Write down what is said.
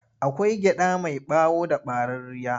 Akwai gyaɗa mai ɓawo da ɓararriya.